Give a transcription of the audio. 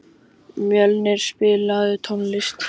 Mjölnir, spilaðu tónlist.